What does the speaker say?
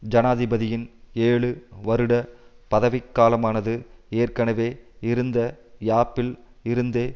ஜனாதிபதியின் ஏழு வருட பதவிக்காலமானது ஏற்கனவே இருந்த யாப்பில் இருந்தே